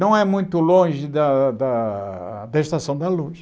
Não é muito longe da da da Estação da Luz.